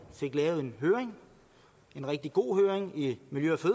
fik lavet en høring en rigtig god høring i miljø